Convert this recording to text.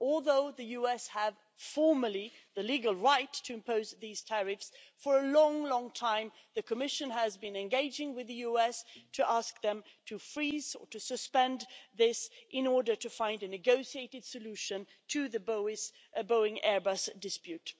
Although the US have formally the legal right to impose these tariffs for a long, long time the Commission has been engaging with the US to ask them to freeze or to suspend this in order to find a negotiated solution to the Boeing Airbus dispute.